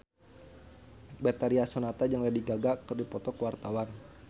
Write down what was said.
Betharia Sonata jeung Lady Gaga keur dipoto ku wartawan